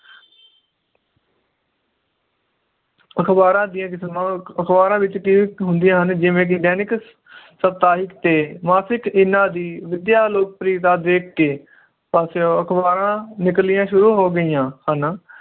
ਅਖਬਾਰਾਂ ਦੀਆਂ ਕਿਸਮਾਂ ਅਖਬਾਰਾਂ ਵਿਚ ਹੁੰਦੀਆਂ ਹਨ ਜਿਵੇ ਕਿ ਦੈਨਿਕ ਸਪਤਾਹਿਕ ਤੇ ਮਾਸਿਕ ਇਹਨਾਂ ਦੀ ਵਿਦਿਆ ਲੋਕ ਪ੍ਰਿਯਤਾ ਦੇਖ ਕੇ ਪਾਸਿਓਂ ਅਖਬਾਰਾਂ ਨਿਕਲਣੀਆਂ ਸ਼ੁਰੂ ਹੋ ਗਈਆਂ ਹ ਨਾ